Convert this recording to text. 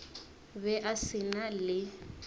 be a se na le